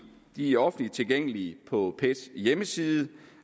de er offentligt tilgængelige på pets hjemmeside